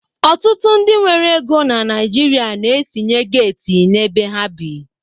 Ọtụtụ ndị nwere ego na Naịjirịa na-etinye geeti n'ebe ha bi.